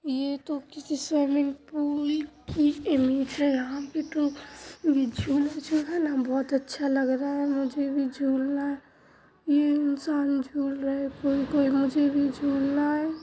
ये तो किसी स्विमिंग पूल की इमेज है । यहाँ पे झूला जो है न बहुत अच्छा लग रहा है । मुझे भी झूलना है ये इंसान झूल रहे हैं पर मुझे भी झुलना है।